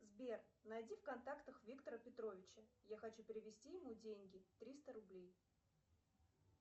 сбер найди в контактах виктора петровича я хочу перевести ему деньги триста рублей